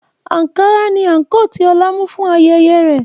Ankara ni àǹkóò tí Ọlá mú fún ayẹyẹ rẹ̀